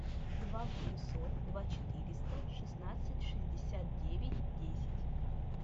два восемьсот два четыреста шестнадцать шестьдесят девять десять